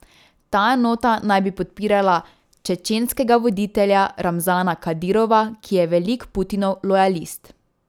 Ta enota naj bi podpirala čečenskega voditelja Ramzana Kadirova, ki je velik Putinov lojalist.